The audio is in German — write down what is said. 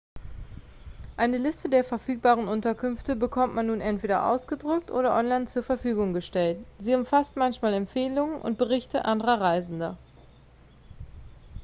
eine liste der verfügbaren unterkünfte bekommt man nun entweder ausgedruckt oder online zur verfügung gestellt sie umfasst manchmal empfehlungen und berichte anderer reisender